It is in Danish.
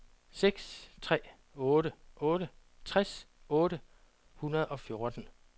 seks tre otte otte tres otte hundrede og fjorten